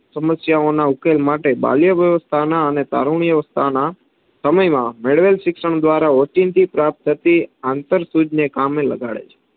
સમસ્યાંઓના ઉકેલ માટે બાલ્ય વ્યવસ્થાના અને તારુંન્યા અવસ્થાના સમયમાં મેળવેલ શિક્ષણ દ્વારા ઓચિંતી પ્રાપ્ત થતી આંતરસૂજ ને કામે લગાડે છે.